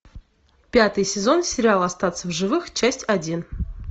пятый сезон сериал остаться в живых часть один